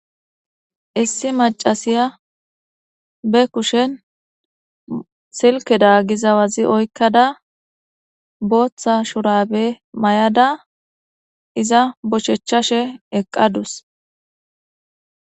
issi macasiya be kushen silke da gizawazi oykkada booththa shurabe may7ada iza boshechchashe eqqadus